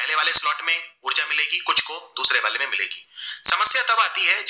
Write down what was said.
तब आती है